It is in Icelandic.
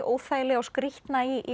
óþægilega og skrýtna í